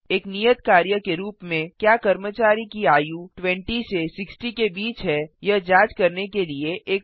एक नियत कार्य के रूप में क्या कर्मचारी की आयु 20 से 60 के बीच है यह जांच करने के लिए एक प्रोग्राम लिखें